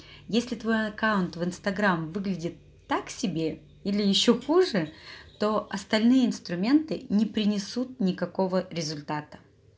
если твой аккаунт в инстаграм выглядит так себе или ещё хуже то остальные инструменты не принесут никакого результата